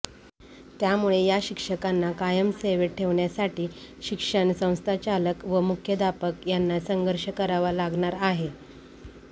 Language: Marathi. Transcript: त्यामुळे या शिक्षकांना कायम सेवेत ठेवण्यासाठी शिक्षण संस्थाचालक व मुख्याध्यापक यांना संघर्ष करावा लागणार आहे